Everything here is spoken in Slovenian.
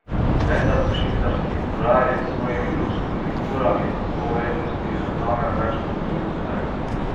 Vendar pa švicarski urarji s svojimi luksuznimi urami po vrednosti zavzamejo več kot polovico trga.